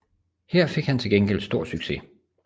Her fik han til gengæld stor succes